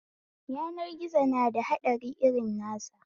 Yanar gizo nada haɗari irin nasa